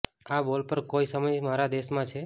આ બોલ પર કોઈ સમય મારા દેશમાં છે